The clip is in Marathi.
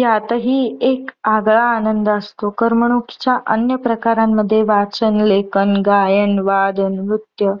यातही एक आगळा आनंद असतो. करमणुकीच्या अन्य प्रकारामध्ये वाचन, लेखन, गायन, वादन, नृत्यं